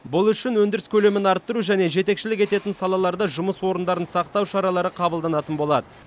бұл үшін өндіріс көлемін арттыру және жетекшілік ететін салаларда жұмыс орындарын сақтау шаралары қабылданатын болады